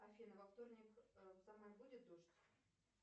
афина во вторник в самаре будет дождь